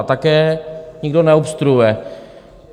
A také nikdo neobstruuje.